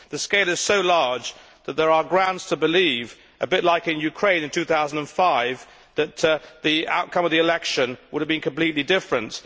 The scale is so large that there are grounds to believe, a bit like in Ukraine in 2005, that the outcome of the election would have been completely different.